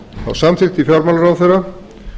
fimm samþykkti fjármálaráðherra